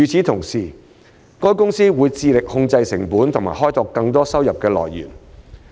同時，海洋公園公司會致力控制成本及開拓更多收入來源。